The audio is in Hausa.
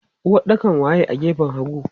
Uwaɗɗakan waye a gefen hagu?